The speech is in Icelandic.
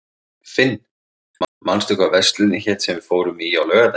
Finn, manstu hvað verslunin hét sem við fórum í á laugardaginn?